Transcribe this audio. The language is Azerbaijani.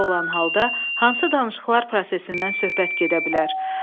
Belə olan halda hansı danışıqlar prosesindən söhbət gedə bilər?